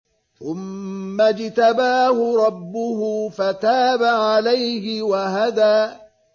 ثُمَّ اجْتَبَاهُ رَبُّهُ فَتَابَ عَلَيْهِ وَهَدَىٰ